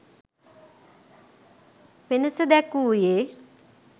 වෙනස දැක්වූයේ